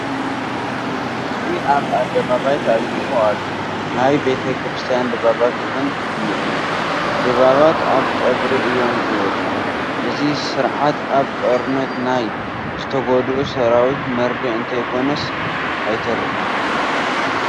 ህዝቢ ኣብ ኣደባባይ ተኣኪቡ ኣሎ፡፡ ናይ ቤተ ክርስቲያን ድባባት እውን እኔዉ፡፡ ድባባት ኣብ ቀብሪ እዮም ዝወፁ፡፡ እዚ ስርዓት ኣብ ጦርነት ናይ ዝተጐድኡ ሰራዊት መርድእ እንተይኮነ ኣይተርፍን፡፡